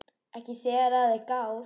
Ekki þegar að er gáð.